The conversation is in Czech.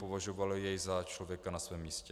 Považovali jej za člověka na svém místě.